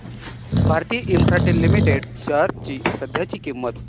Bharti Infratel limited shares ची सध्याची किंमत